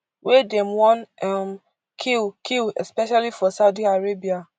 wey dem wan um kill kill especially for saudi arabia